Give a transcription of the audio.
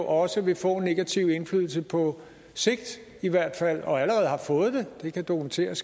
også vil få en negativ indflydelse på sigt og allerede har fået det det kan dokumenteres